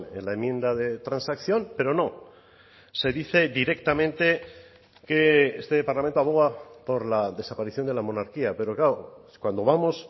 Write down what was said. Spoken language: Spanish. en la enmienda de transacción pero no se dice directamente que este parlamento aboga por la desaparición de la monarquía pero claro cuando vamos